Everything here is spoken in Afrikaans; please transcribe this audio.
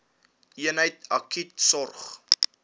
eenheid akute sorg